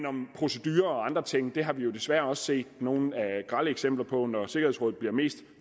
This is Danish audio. om procedurer og andre ting det har vi jo desværre også set nogle grelle eksempler på når sikkerhedsråd bliver mest